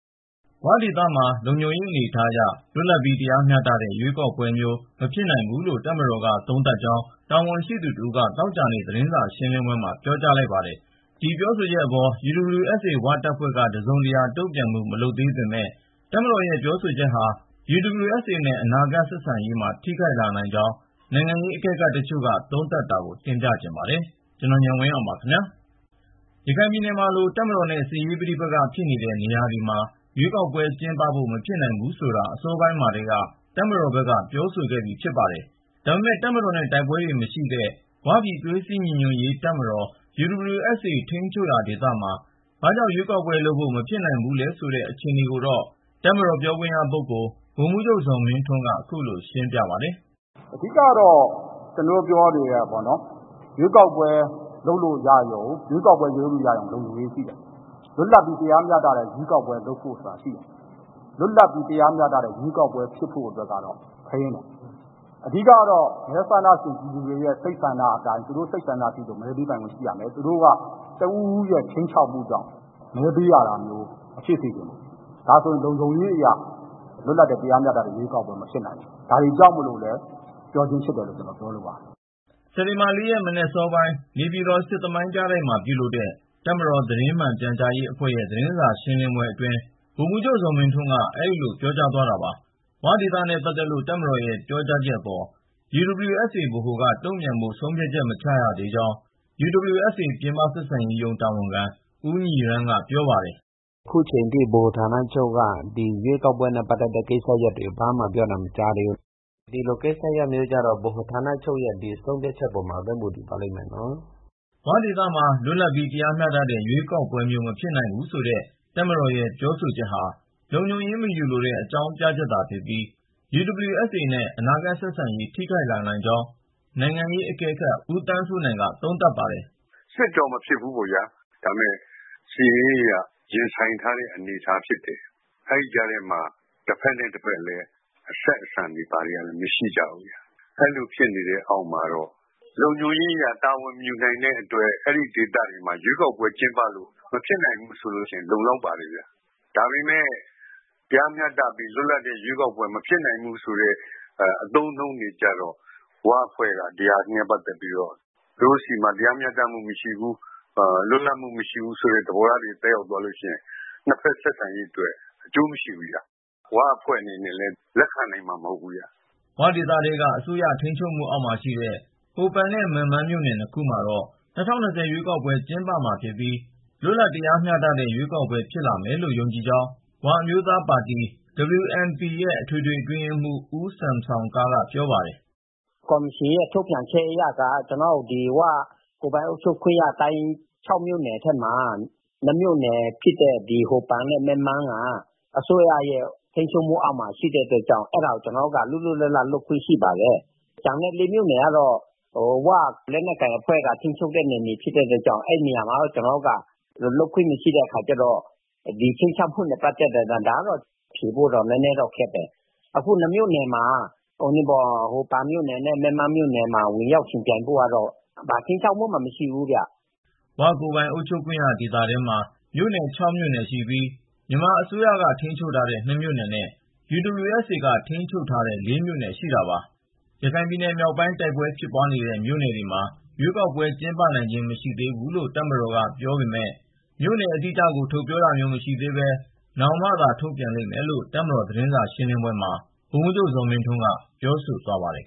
' ဝ ' ဒေသမှာ လုံခြုံရေးအနေအထားအရလွတ်လပ်ပြီး တရားမျှတတဲ့ ရွေးကောက်ပွဲမျိုး မဖြစ်နိုင်ဘူးလို့ တပ်မတော်က သုံးသပ်ကြောင်း တာဝန်ရှိသူတဦးက သောကြာနေ့ သတင်စာရှင်းလင်းပွဲမှာ ပြောကြားလိုက်ပါတယ်။ ဒီပြောဆိုချက်အပေါ် UWSA ဝတပ်ဖွဲ့က တစုံတရာ တုန့်ပြန်မှု မလုပ်သေးပေမဲ့ တပ်မတော်ရဲ့ ပြောဆိုချက်ဟာ UWSA နဲ့ အနာဂတ်ဆက်ဆံရေးမှာ ထိခိုက်လာနိုင်ကြောင်း နိုင်ငံရေးအကဲခတ်တချို့က သုံးသပ်ထားတာကို ကို ဉာဏ်ဝင်းအောင် တင်ပြပေးမှာပါ။ ရခိုင်ပြည်နယ်မှာလို တပ်မတော်နဲ့ စစ်ရေးပဋိပက္ခဖြစ်နေတဲ့ နေရာတွေမှာ ရွေးကောက်ပွဲ ကျင်းပဖို့ မဖြစ်နိုင်ဘူးဆိုတာ အစောပိုင်းမှာကတည်းက တပ်မတော်ဘက်က ပြောဆိုခဲ့ပြီးဖြစ်ပါတယ်။ ဒါပေမဲ့ တပ်မတော်နဲ့ တိုက်ပွဲတွေ မရှိတဲ့ ဝပြည်သွေးစည်းညီညွတ်ရေး တပ်မတော် UWSA ထိန်းချုပ်ရာ ဒေသမှာ ဘာကြောင့် ရွေးကောက်ပွဲ လုပ်ဖို့ မဖြစ်နိုင်ဘူးလဲ ဆိုတဲ့ အခြေအနေကိုတော့ တပ်မတော်သတင်းမှန် ပြန်ကြားရေးရဲ့ ပြောခွင့်ရပုဂ္ဂိုလ် ဗိုလ်မှူးချုပ် ဇော်မင်းထွန်းက ခုလို ရှင်းပြသ ွားပါတယ်။ “အဓိကတော့ ကျနော်တို့ပြောနေတာပေါ့နော် ရွေးကောက်ပွဲ လုပ်လို့ရရုံနဲ့ လုပ်နည်းရှိတယ်၊ လွတ်လပ်ပြီးတရားမျှတတဲ့ ရွေးကောက်ပွဲဆိုတာ လုပ်ဖို့ဆိုတာရှိတယ်။ လွတ်လပ်ပြီးတရားမျှတတဲ့ ရွေးကောက်ပွဲဖြစ်ဖို့အတွက်ကတော့ ခဲယဉ်းတယ်။ အဓိကတော့ မဲဆန္ဒရှင် ပြည်သူတွေရဲ့ စိတ်ဆန္ဒအတိုင်း သူတို့ စိတ်ဆန္ဒရှိသလို မဲပေးပိုင်ခွင့်ရှိရမယ်။ သူတို့က တဦးဦးရဲ့ ခြိမ်းခြောက်မှုကြောင့် မဲပေးရတာမျိုး မဖြစ်စေချင်ဘူး။ ဒါဆိုရင် လုံခြုံရေးအရ လွတ်လပ်တဲ့ တရားမျှတတဲ့ ရွေးကောက်ပွဲ မဖြစ်နိုင်ဘူး။ ဒါတွေကြောင့်မို့လို့လည်း ပြောချင်းဖြစ်တယ်လို့ ကျနော်ပြောလိုပါတယ်။” စက်တင်ဘာ ၄ ရက် မနက်စောပိုင်း နေပြည်တော် စစ်သမိုင်းပြတိုက်မှာ ပြုလုပ်တဲ့ တပ်မတော် သတင်းမှန်ပြန်ကြားရေးအဖွဲ့ရဲ့ သတင်းစာရှင်းလင်းပွဲအတွင်း ဗိုလ်မှူးချုပ် ဇော်မင်းထွန်းက အဲဒီလို ပြောသွားတာပါ။ ' ဝ ' ဒေသနဲ့ ပတ်သက်လို့ တပ်မတော်ရဲ့ ပြောကြားချက်အပေါ် UWSA ဗဟိုက တုန့်ပြန်ဖို့ ဆုံးဖြတ်ချက် မချရ သေးကြောင်း UWSA ပြင်ပဆက်ဆံရေးရုံး တာဝန်ခံ ဦးညီရမ်းက ပြောပါတယ်။ “အခုအချိန်အထိ ဗဟိုဌာနချုပ်က ဒီရွေးကောက်ပွဲနဲ့ ပတ်သက်တဲ့ ကိစ္စရပ်တွေကို ဘာမှပြောတာမကြားသေးဘူး ။ ဒီလိုကိစ္စမျိုးကတော့ ဗဟိုဌာနချုပ်ရဲ့ ဆုံးဖြတ်ချက်အပေါ်မှာပဲ မူတည်ပါလိမ့်မယ်နော်။” ဝဒေသမှာ လွတ်လပ်ပြီး တရားမျှတတဲ့ ရွေးကောက်ပွဲမျိုး မဖြစ်နိုင်ဘူးဆိုတဲ့ တပ်မတော်ရဲ့ ပြောဆိုချက်ဟာ လုံခြုံရေး မယူလိုတဲ့ အကြောင်းပြချက်သာ ဖြစ်ပြီး ၊ UWSA နဲ့ အနာဂတ်ဆက်ဆံရေး ထိခိုက်လာနိုင်ကြောင်း နိုင်ငံရေးအကဲခတ် ဦးသန်းစိုးနိုင်က သုံးသပ်ပါတယ်။ “စစ်တော့ မဖြစ်ဘူပေါ့ဗျာ ဒါပေမယ့် စစ်ရေးအရ ရင်ဆိုင်ထားတဲ့ အနေအထားဖြစ်တယ်။ အဲဒီကြားထဲမှာ တဘက်နဲ့ တဘက်ကလည်း အဆက်အဆံတွေကတော့ မရှိကြဘူး အဲလိုဖြစ်နေတဲ့အောက်မှာတော့ လုံခြုံရေးအရ တာဝန်မယူနိုင်တဲ့အတွက် အဲဒီဒေသတွေမှာ ရွေးကောက်ပွဲ ကျင်းပလို့ မဖြစ်နိုင်ဘူးဆိုရင် လုံလောက်ပါတယ်။ ဒါပေမယ့် တရားမျှတပြီးလွတ်လပ်တဲ့ ရွေးကောက်ပွဲ မဖြစ်နိုင်ဘူးဆိုတဲ့ အသုံးအနှုန်းတွေကျတော့ ဝအဖွဲ့က ဒါနဲ့ ပတ်သက်ပြီးတော့ သူတို့ဆီမှာ တရားမျှတမှုမရှိဘူး ၊ လွတ်လပ်မှုမရှိဘူးဆိုတဲ့သဘောတရားတွေ သက်ရောက်သွားရင် ၂ ဘက်ဆက်ဆံရေးအတွက် အကျိုးမရှိဘူး ။ ၀ အဖွဲ့အနေနဲ့လည်း လက်ခံနိုင်မှာ မဟုတ်ဘူးဗျ။” ' ဝ ' ဒေသထဲက အစိုးရရဲ့ ထိန်းချုပ်မှုအောက်မှာရှိတဲ့ ဟိုပန်နဲ့ မက်မန်း မြို့နယ် ၂ ခုမှာတော့ ၂၀၂၀ ရွေးကောက်ပွဲကျင်းပမှာဖြစ်ပြီး ၊ လွတ်လပ်တဲ့ တရားမျှတတဲ့ ရွေးကောက်ပွဲ ဖြစ်လာမယ်လို့ ယုံကြည်ကြောင်း ဝအမျိုးသားပါတီ WNP ရဲ့ အထွေထွေ အတွင်းရေးမှူး ဦးဆမ်ဆောင်ကားက ပြောပါတယ်။ “ ကော်မရှင်ထုတ်ပြန်ချက်အရက ကျနော်တို့ ဒီ ၀ ကိုယ်ပိုင်အုပ်ချုပ်ခွင့်ရ ၆ မြို့နယ်မှာ ၂ မြို့နယ်ဖြစ်တဲ့ ဟိုပန်နဲ့ မက်မန်းမှာ အစိုးရရဲ့ ထိန်းချုပ်မှုအောက်မှာ ရှိတဲ့အတွက်ကြောင့် ကျနော်တို့က လွတ်လွတ်လပ်လပ် လုပ်ခွင့်ရှိပါတယ်။ ကျန်တဲ့ ၄ မြို့နယ်ကတော့ ၀ လက်နက်ကိုင်အဖွဲ့က ထိန်းချုပ်တဲ့နယ်မြေဖြစ်တဲ့အတွက်ကြောင့် အဲဒီနေရာမှာတော့ ကျနော်တို့ လုပ်ခွင့်မရှိတဲ့အခါကျတော့ ဒီ ခြိမ်းခြောက်မှုနဲ့ ပတ်သက်တဲ့အတွက်ကြောင့် ဒါကတော့ ဖြေဖို့တော့ နည်းနည်းခက်တယ်။ အခု ၂ မြို့နယ်မှာ ဟိုပန်မြို့နယ်နဲ့ မက်မန်း မြို့နယ်မှာ ဝင်ရောက်ယှဉ်ပြိုင်ဖို့ကတော့ ဘာ ခြိမ်းခြောက်မှုမှ မရှိဘူးခင်ဗျ။” ' ဝ ' ကိုယ်ပိုင်အုပ်ချုပ်ခွင့် ဒေသထဲမှာ မြို့နယ် ၆ မြို့နယ်ရှိပြီး မြန်မာအစိုးရက ထိန်းချုပ်ထားတဲ့ ၂ မြို့နယ်နဲ့ UWSA က ထိန်းချုပ်ထားတဲ့ ၄ မြို့နယ် ရှိတာပါ။ ရခိုင်ပြည်နယ် မြောက်ပိုင်း တိုက်ပွဲဖြစ်နေတဲ့ မြို့နယ်တွေမှာ ရွေးကောက်ပွဲ ကျင်းပနိုင်ခြင်း မရှိသေးဘူးလို့ တပ်မတော်က ပြောပေမယ့် မြို့နယ်အတိအကျကို ထုတ်ပြောတာမျိုး မရှိသေးပဲ နောင်မှသာ ထုတ်ပြန်လိမ့်မယ်လို့ တပ်မတော် သတင်းစာရှင်းလင်းပွဲမှာ ဗိုလ်မှူးချုပ် ဇော်မင်းထွန်းက ပြောဆိုသွားပါတယ်